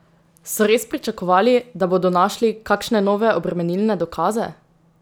So res pričakovali, da bodo našli kakšne nove obremenilne dokaze?